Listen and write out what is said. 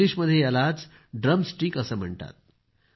इंग्लिशमध्ये याला drum stick असं म्हणतात